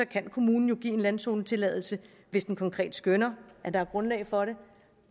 kan kommunen jo give en landzonetilladelse hvis den konkret skønner at der er grundlag for det